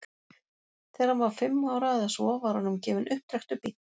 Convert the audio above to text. Þegar hann var fimm ára eða svo var honum gefinn upptrekktur bíll.